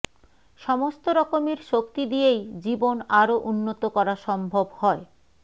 সমস্ত রকমের শক্তি দিযেই জীবন আরও উন্নত করা সম্ভব হয়